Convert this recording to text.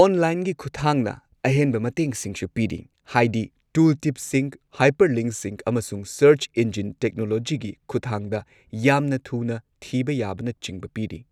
ꯑꯣꯟꯂꯥꯏꯟꯒꯤ ꯈꯨꯊꯥꯡꯅ ꯑꯍꯦꯟꯕ ꯃꯇꯦꯡꯁꯤꯡꯁꯨ ꯄꯤꯔꯤ ꯍꯥꯢꯗꯤ ꯇꯨꯜꯇꯤꯞꯁꯤꯡ, ꯍꯥꯏꯄꯔꯂꯤꯡꯛꯁꯤꯡ, ꯑꯃꯁꯨꯡ ꯁꯔꯆ ꯏꯟꯖꯤꯟ ꯇꯦꯛꯅꯣꯂꯣꯖꯤꯒꯤ ꯈꯨꯠꯊꯥꯡꯗ ꯌꯥꯝꯅ ꯊꯨꯅ ꯊꯤꯕ ꯌꯥꯕꯅꯆꯤꯡꯕ ꯄꯤꯔꯤ꯫